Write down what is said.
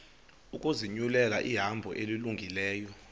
ukuzinyulela ihambo elungileyo